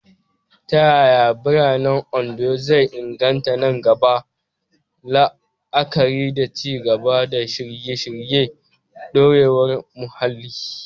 Ta yaya yanayin biranen Ondo zai inganta nan gaba, la'akari da ci gaba da shirye-shiryen dorewar muhalli?